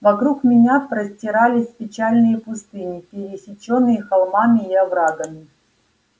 вокруг меня простирались печальные пустыни пересечённые холмами и оврагами